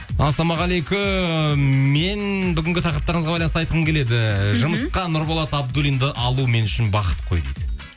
ассалаумағалейкум мен бүгінгі тақырыптарыңызға байланысты айтқым келеді жұмысқа нұрболат абдуллинді алу мен үшін бақыт қой дейді